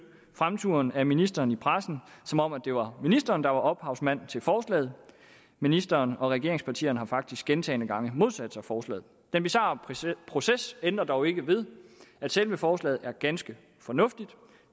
fremturen af ministeren i pressen som om det var ministeren der var ophavsmand til forslaget ministeren og regeringspartierne har faktisk gentagne gange modsat sig forslaget den bizarre proces ændrer dog ikke ved at selve forslaget er ganske fornuftigt